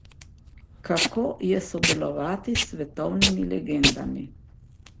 Kako je sodelovati s svetovnimi legendami?